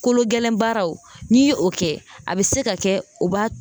Kolo gɛlɛn baaraw n'i ye o kɛ a bɛ se ka kɛ u b'a